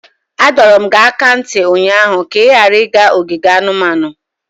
Adọrum gị aka na ntị ụnyaahụ ka ị ghara ịga ogige anumanu!